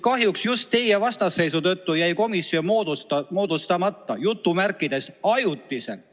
Kahjuks just teie vastasseisu tõttu jäi komisjon "ajutiselt" moodustamata.